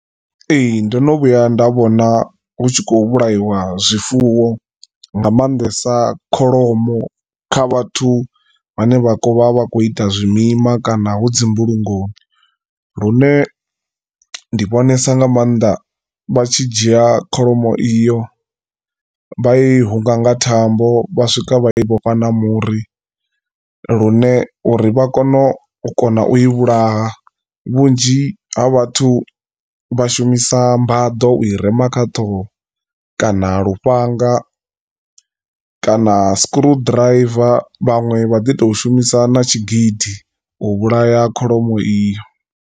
Ee ndono vhuya nda vhona hu tshi khou vhulaiwa zwifuwo nga maanḓesa kholomo kha vhathu vhane vha khovha vha kho ita zwimima kana hu dzi mbulungoni. Lune ndi vhonesa nga maanda vha tshi dzhia kholomo iyo vha i hunga nga thambo vha swika vha i vhofha na muri lune uri vha kone u kona u i vhulaha vhunzhi ha vhathu vha shumisa mbaḓo ui rema kha ṱhoho kana lufhanga kana scrolldriver vhaṅwe vha ḓi to shumisa na tshigidi u vhulaya kholomo iyo.